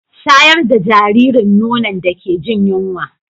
Shayar da jaririn nono da ke jin yunwa